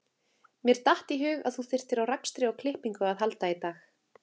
Mér datt í hug að þú þyrftir á rakstri og klippingu að halda í dag